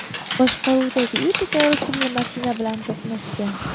boshqaruvidagi Epica rusumli mashina bilan to‘qnashgan.